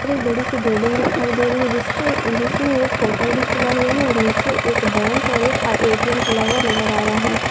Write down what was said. पर एक बड़ी सी बिलिंग दिखाई दे रही है जिसके जिसमें एक होटल भी खुला हुआ है और नीचे एक बैंक और एक आई ऐ.टी.एम. खुला हुआ नजर आ रहा है।